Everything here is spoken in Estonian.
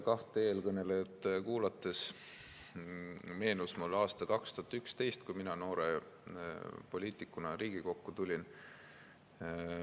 Kahte eelkõnelejat kuulates meenus mulle aasta 2011, kui mina noore poliitikuna Riigikokku tulin.